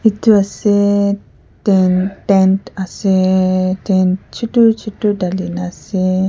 etu aseyy ten tent aseyy tent chutu chutu dhali na ase.